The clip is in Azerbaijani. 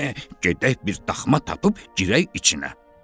Gedək bir daxma tapıb girək içinə.